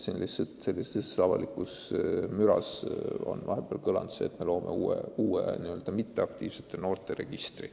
Avalikkuses on vahepeal nimelt kõlanud väide, et me loome uue n-ö mitteaktiivsete noorte registri.